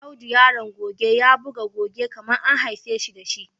Audo Yaron goge ya buga goge kamar an haifeshi dashi.